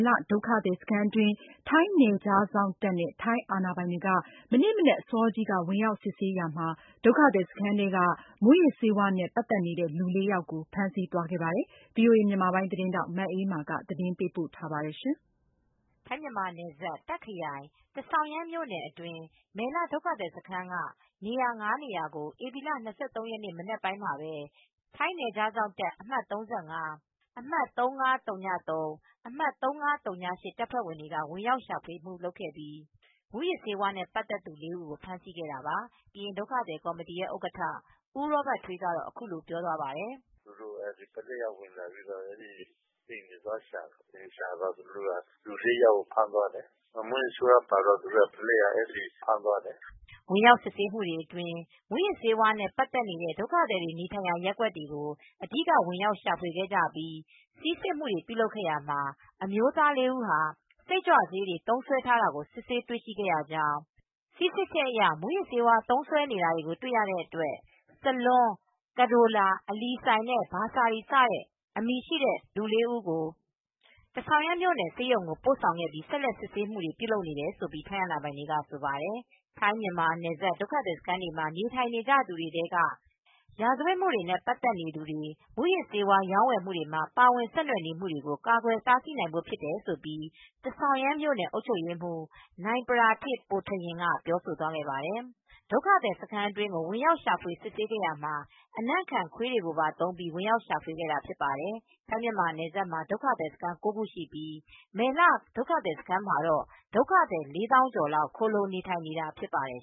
လ ဒုက္ခသည်စခန်း အတွင်းကို ထိုင်းနယ်ခြားစောင့်တပ် နဲ့ ထိုင်းအာဏာပိုင်များက ဧပြီလ ၂၃ရက်နေ့ မနက် အစောကြီးမှာ ဝင်ရောက်စစ်ဆေးပြီးတဲ့နောက ်ဒုက္ခသည်စခန်းတွင်းက မူးယစ်ဆေးဝါးနဲ့ ပတ်သက်နေသူ လူ ၄ယောက်ကို ဖမ်းဆီးသွားခဲ့တယ်လို့ ကရင်ဒုက္ခသည်ကော်မတီက ဆိုပါတယ်။ ထိုင်းအခြေစိုက် VOA မြန်မာပိုင်းသတင်းထောက် မအေးအေးမာက သတင်းပေးပို့ ထားပါတယ်။ ထိုင်း-မြန်မာနယ်စပ် တာခ်ခရိုင် ထဆောင်ရန်မြို့နယ် အတွင်းက မယ်လ ဒုက္ခသည်စခန်း က နေရာ (၅) နေရာ ကို ဧပြီလ ၂၃ရက်နေ့ မနက်အစောပိုင်းမှာပဲ ထိုင်းနယ်ခြားစောင့်တပ် အမှတ် ၃၅- အမှတ် ၃၅၀၃- အမှတ်၃၅၀၈ တပ်ဖွဲ့တွေက ဝင်ရောက်ရှာဖွေ မူလုပ်ခဲ့ပြီး မူးယစ်ဆေးဝါးနဲ့ ပတ်သက်သူ ၄ ဦးကို ဖမ်းဆီးခဲ့တာပါ ။ ကရင်ဒုက္ခသည်ကော်မတီရဲ့ဥက္ကဌ ဦးရောဘတ်ထွေးကတော့ အခုလိုပြောသွားပါတယ်။ “သူတို့ ပုလိပ်ကဝင်လာပြီး အိမ်မှာသွားရှာတယ် နောက်သူတို့က လူ၄ယောက်ကို ဖမ်းသွားတယ်။ မူးယစ်ဆေးဝါးပါတော့ အဲဒီ ပုလိပ်က ဖမ်းသွားတယ်။” ဝင်ရောက်စစ်ဆေးမှုတွေအတွင်း မူးယစ်ဆေးတွေနဲ့ ပတ်သက်နေတဲ့ ဒုက္ခသည်တွေ နေထိုင်ရာ ရပ်ကွက်တွေကို အဓိက ဝင်ရောက်ရှာဖွေခဲ့ကြပြီး ဆီးစစ်မှု တွေပြုလုပ်ခဲ့ရာမှာ အမျိုးသားလေးဦးဟာ စိတ်ကြွဆေးတွေ သုံးစွဲထားတာကို စစ်ဆေးတွေ့ရှိရကြောင်း ၊ ဆီးစစ်ချက်အရ မူးယစ်ဆေးသုံးစွဲနေတာ တွေ့ရတဲ့ စလွန်း-ကဒိုလာ-အလီစိုင်နဲ့ ဘာဆာရီစတဲ့ အမည်ရှိတဲ့ လူ၄ဦးကို ထဆောင်ရန် မြို့ ဆေးရုံကို ပို့ဆောင်ပြီး ဆက်လက် စစ်ဆေးမှုတွေ ပြုလုပ်နေတယ်လို့ ထိုင်းအာဏာပိုင်တွေက ဆိုပါတယ် ။ ထိုင်းမြန်မာနယ်စပ် ဒုက္ခသည်စခန်းတွေမှာ နေထိုင်နေကြသူတွေ ထဲက ရာဇဝတ်မှုတွေနဲ့ ပတ်သက်မူတွေ မူးယစ်ဆေး ဝါးရောင်းဝယ်မှုတွေမှာ ပါဝင် ဆက်နွယ်နေမူတွေကို ကာကွယ်တားဆီးနိုင်ဖို့ ဖြစ်တယ်လို့ ထဆောင်ရန် အုပ်ချုပ်ရေးမှူး နိုင်ပရာထစ် ပိုထရင် က ပြောဆိုသွားပါတယ်။ ဒုက္ခသည်စခန်းထဲကို ဝင်ရောက်ရှာဖွေစစ်ဆေးရာမှာ အနံ့ခံခွေးတွေပါ သုံးပြီး ဝင်ရောက် ရှာဖွေခဲ့တာဖြစ်ပါတယ်။ထိုင်း-မြန်မာနယ်စပ်မှာ ဒုက္ခသည်စခန်း ၉ခုရှိ ပြီး မယ်လဒုက္ခသည်စခန်း မှာတော့ ဒုက္ခသည် ၄သောင်းကျော်လောက် ခိုလုံနေထိုင်နေတာဖြစ်ပါတယ်